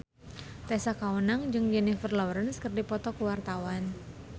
Tessa Kaunang jeung Jennifer Lawrence keur dipoto ku wartawan